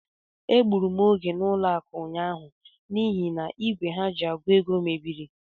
Egbụrụ m oge n'ụlọakụ ụnyaahụ n'ihi n'igwe ha ji àgụ̀ ego mebiri.